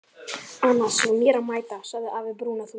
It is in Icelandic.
Annars er mér að mæta, sagði afi brúnaþungur.